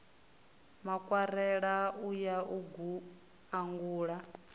makwarela u ya u angula